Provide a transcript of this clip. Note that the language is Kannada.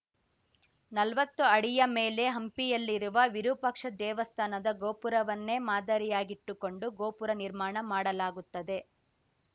ನಲ್ವತ್ತು ಅಡಿಯ ಮೇಲೆ ಹಂಪಿಯಲ್ಲಿರುವ ವಿರೂಪಾಕ್ಷ ದೇವಸ್ಥಾನದ ಗೋಪುರವನ್ನೇ ಮಾದರಿಯಾಗಿಟ್ಟುಕೊಂಡು ಗೋಪುರ ನಿರ್ಮಾಣ ಮಾಡಲಾಗುತ್ತದೆ